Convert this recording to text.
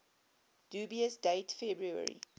dubious date february